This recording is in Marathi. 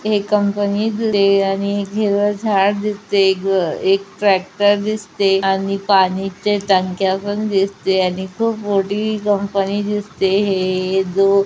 हे कंपनीत ते आणि हिरवे झाड दिसते एग एक ट्रॅक्टर दिसते आणि पाणीचे टांक्या पण दिसते आणि खुप मोठी कंपनी दिसते हे दो--